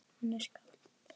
Hann er skáld